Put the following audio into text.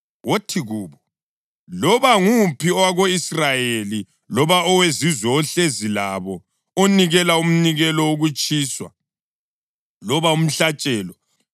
Wothi kubo: ‘Loba nguphi owako-Israyeli loba owezizwe ohlezi labo onikela umnikelo wokutshiswa loba umhlatshelo,